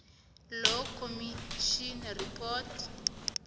law commission report